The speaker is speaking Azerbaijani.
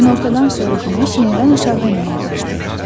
Günortadan sonra günəş yenidən aşağı enməyə başlayır.